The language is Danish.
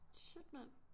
Shit mand